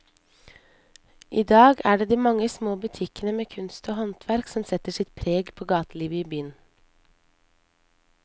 I dag er det de mange små butikkene med kunst og håndverk som setter sitt preg på gatelivet i byen.